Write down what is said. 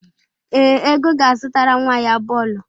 Ee, Ego ga-azụtara nwa ya bọọlụ.